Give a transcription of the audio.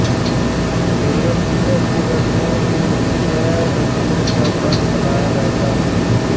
दुर्गा पूजा के दसवें दिन विजया दशमी का पर्व मनाया जाता है